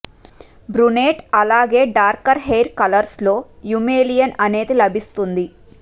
brunette అలాగే darker hair colours లో eumelanin అనేది లభిస్తుంది